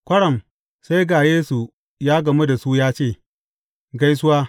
Kwaram, sai ga Yesu ya gamu da su ya ce, Gaisuwa.